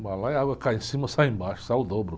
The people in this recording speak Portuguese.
O balaio, a água que cai em cima e sai embaixo, sai o dobro.